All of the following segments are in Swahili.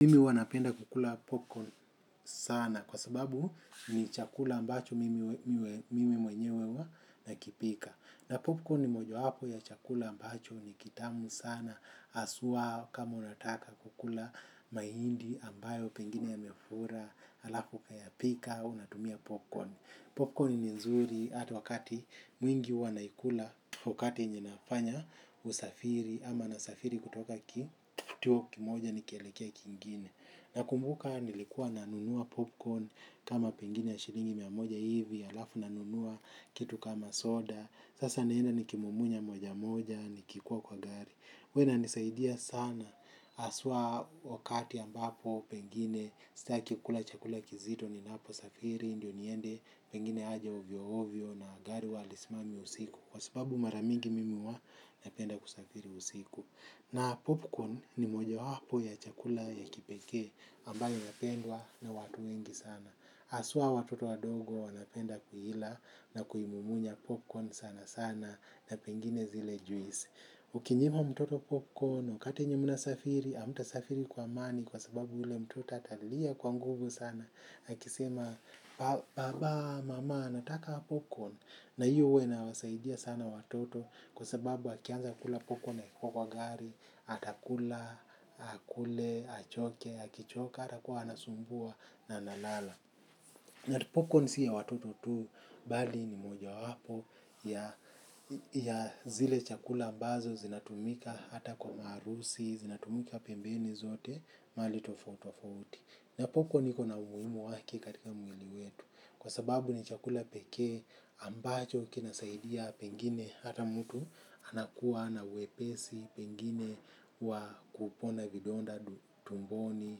Mimi huwa napenda kukula popcorn sana kwa sababu ni chakula ambacho mimi mwenyewe uwa nakipika. Na popcorn ni mojawapo ya chakula ambacho ni kitamu sana asuwa kama unataka kukula maindi ambayo pengine yamefura. Alafu ukayapika unatumia popcorn. Popcorn ni nzuri ata wakati mwingi huwa naikula wakati yenye nafanya usafiri ama nasafiri kutoka kituo kimoja nikielekea kingine nakumbuka nilikuwa nanunua popcorn kama pengine ya shilingi mia moja hivi alafu nanunua kitu kama soda sasa naenda nikimumunya moja moja nikikuwa kwa gari huw inanisaidia sana aswa wakati ambapo pengine staki kula chakula kizito ninaposafiri ndio niende pengine aja ovyoovyo na gari huwa halismami usiku. Kwa sababu mara mingi mimi uwa napenda kusafiri usiku. Na popcorn ni mojawapo ya chakula ya kipekee ambayo inapendwa na watu wengi sana. Aswa watoto wadogo wanapenda kuila. Na kuimumunya popcorn sanasana. Na pengine zile juisi ukinyima mtoto popcorn wakati yenye mnasafiri amtasafiri kwa amani. Kwa sababu ule mtoto atalia kwa nguvu sana akisema baba mama nataka popcorn. Na hiyo uwa inawasaidia sana watoto kwa sababu akianza kula popcorn akikua kwa gari, atakula, akule, achoke, akichoka, hatakuwa anasumbua na analala. Na popcorn si ya watoto tu, bali ni mojawapo ya zile chakula ambazo zinatumika hata kwa maharusi, zinatumika pembeni zote, mahali tofautofauti. Na popcorn iko na umuimu wake katika mwili wetu. Kwa sababu ni chakula pekee ambacho kinasaidia pengine hata mtu anakuwa na uwepesi pengine wa kupona vidonda tumboni.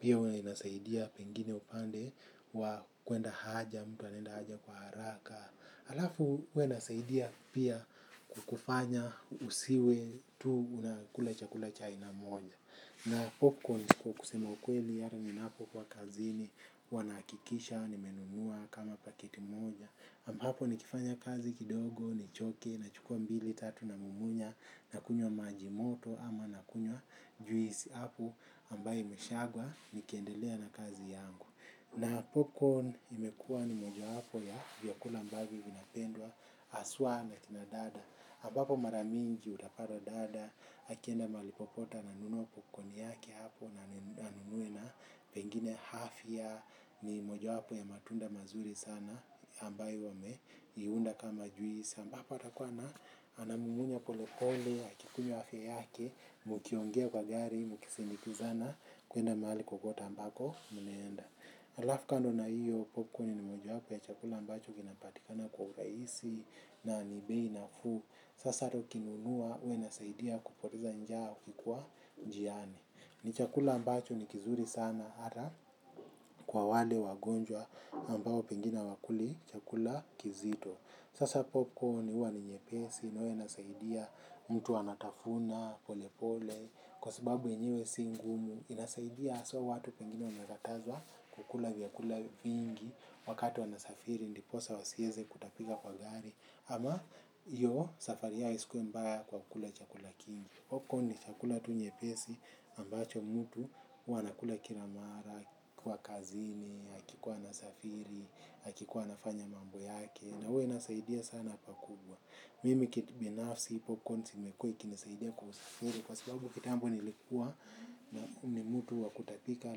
Pia huwa inasaidia pengine upande wa kwenda haja mtu anaenda haja kwa haraka. Alafu huwa inasaidia pia kukufanya usiwe tu unakula chakula cha aina moja. Na popcorn kwa kusema ukweli ata ninapokuwa kazini huwa nahakikisha, nimenunua kama paketi moja. Ambapo nikifanya kazi kidogo, nichoke, nachukua mbili, tatu namumunya, nakunywa maji moto ama nakunywa juisi apo ambaye imeshagwa nikiendelea na kazi yangu. Na popcorn imekua ni mojawapo ya vyakula ambavyo vinapendwa aswa na kina dada. Abapo mara mingi utapata dada, akienda mahali popote ananunua popkoni yake hapo na anunue na pengine hafya ni mojawapo ya matunda mazuri sana ambayo wameiunda kama juisi. Ambapo atakuwa ana anamumunya polepole, akikunywa hafya yake, mukiongea kwa gari, mukisindikizana kuenda mali kokote ambako mnaenda. Alafu kando na hiyo, Popcorn ni mojawapo ya chakula ambacho kinapatikana kwa uraisi na ni bei nafuu. Sasa ata ukinunua, ua inasaidia kupoteza njaa ukikua njiani. Ni chakula ambacho ni kizuri sana, ata kwa wale wagonjwa ambao pengine hawakuli chakula kizito. Sasa. Popcorn ua ni nyepesi, na ua inasaidia mtu anatafuna polepole, kwa sababu yenyewe si ngumu inasaidia aswa watu pengine wametazwa kukula vyakula viingi wakati wanasafiri ndiposa wasieze kutapika kwa gari ama yo safari yake isikuwe mbaya kwa kukula chakula kingi popcorn ni chakula tu nyepesi ambacho mutu huwa anakula kila mara kwa kazini akikuwa anasafiri hakikuwa anafanya mambo yake na ua inasaidia sana pakubwa mimi kitbinafsi popcorns imekua ikinisaidia kukusafiri kwa sababu kitambo nilikuwa na ni mutu wa kutapika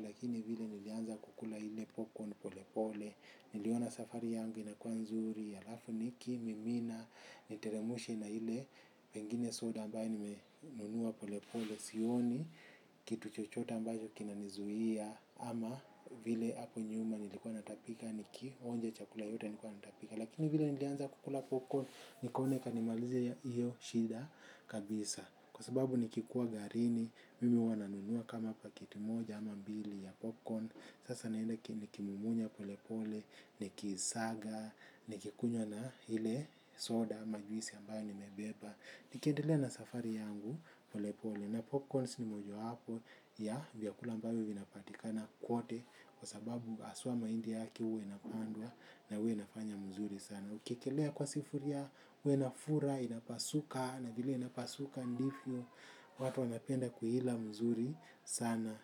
lakini vile nilianza kukula ile popcorn polepole niliona safari yangu inakua nzuri alafu nikimimina, niteremshe na ile pengine soda ambaye nimenunua polepole sioni, kitu chochote ambacho kinanizuia ama vile hapo nyuma nilikuwa natapika nikionje chakula yoyote nilikuwa natapika lakini vile nilianza kukula popcorn nikaona ikanimalizia iyo shida kabisa. Kwa sababu nikikuwa garini, mimi huwa nanunua kama pakiti moja ama mbili ya popcorn. Sasa naenda ki nikimumunya polepole, nikiisaga, nikikunywa na hile soda ama juisi ambayo nimebeba. Nikiedelea na safari yangu polepole na popcorns ni mojawapo ya vyakula ambayo vinapatika na kwote. Kwa sababu aswa maindi yake uwa inapandwa na uwe inafanya mzuri sana. Ukiekelea kwa sifuria ua inafura inapasuka na vile inapasuka ndifio watu wanapenda kuila mzuri sana.